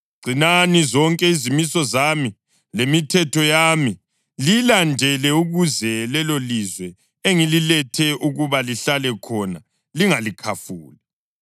Gcinani zonke izimiso zami lemithetho yami, liyilandele ukuze lelolizwe engililethe ukuba lihlale khona lingalikhafuli.